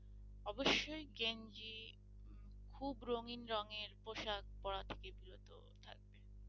অবশ্যই গেঞ্জি খুব রঙিন রঙের পোশাক পড়া থেকে বিরত থাকবে।